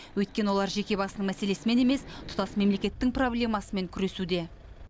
өйткені олар жеке басының мәселесімен емес тұтас мемлекеттің проблемасымен күресуде